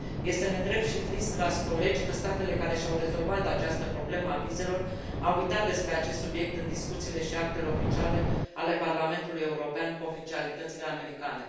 Este nedrept și trist, dragi colegi, că statele care și au rezolvat această problemă a vizelor au uitat despre acest subiect în discuțiile și actele oficiale ale Parlamentului European cu oficialitățile americane.